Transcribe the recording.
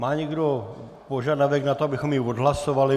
Má někdo požadavek na to, abychom ji odhlasovali?